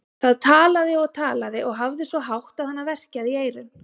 Það talaði og talaði og hafði svo hátt að hana verkjaði í eyrun.